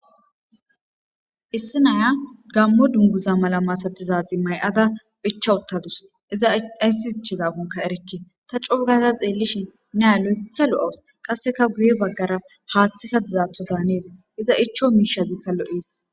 Issi naya Gamo duniguza mala masatiza mayada ichchachu utadusi iza azasi ichchidakkonne erikke ta co gada xelishini naiya looththa loawusi qasekka guye bagara haaththi dizaththokka hanees iza ichcho mishshazikka loesi